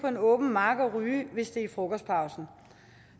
en åben mark og ryge hvis det er i frokostpausen